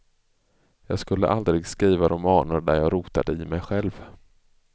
Jag skulle aldrig skriva romaner där jag rotade i mej själv.